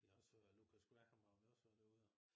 Jeg har også hørt Lukas Graham har vi også hørt derude jo